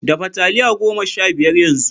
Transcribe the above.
Dafa taliya goma sha biyar yanzu!